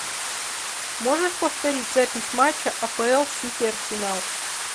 можешь повторить запись матча апл сити арсенал